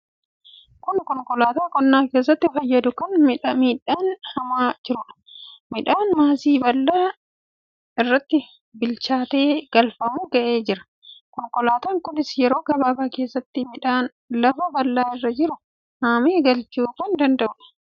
Kun konkolaataa qonna keessatti fayyadu kan midhaan haamaa jiruudha. Midhaan maasii bal'aa irratti bilchaatee galfamuu ga'ee jira. Konkolaataan kunis yeroo gabaabaa keessatti midhaan lafa bal'aa irra jiru haamee galchuu kan danda'uudha.